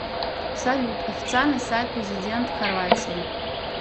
салют официальный сайт президент хорватии